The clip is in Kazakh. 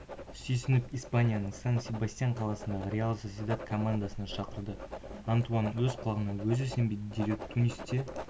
сүйсініп испанияның сан-себастьян қаласындағы реал сосьедад командасына шақырды антуан өз құлағына өзі сенбеді дереу тунисте